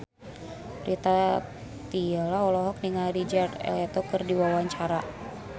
Rita Tila olohok ningali Jared Leto keur diwawancara